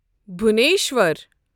Bhubaneswar